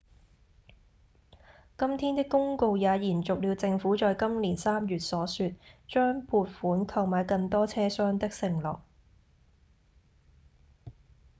今天的公告也延續了政府在今年三月所說、將撥款購買更多車廂的承諾